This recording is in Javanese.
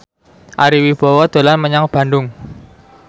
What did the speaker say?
Ari Wibowo dolan menyang Bandung